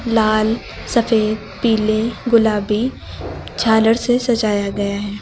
लाल सफेद पीले गुलाबी झालर से सजाया गया है।